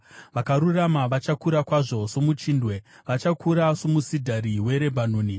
Vakarurama vachakura kwazvo somuchindwe, vachakura somusidhari weRebhanoni;